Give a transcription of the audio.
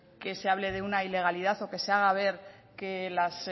que se hable de una ilegalidad o que se haga ver que las